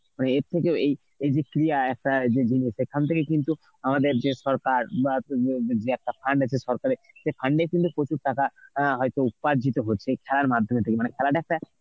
মানে এর থেকে এই, এইযে ক্রিয়া একটা প্রথম থেকেই কিন্তু আমাদের যে সরকার যে একটা fund আছে সরকারের সে fund এ কিন্তু প্রচুর টাকা অ্যাঁ হয়তো উপার্জিত হচ্ছে খেলার মাধ্যমে তে মানে খেলাটাকে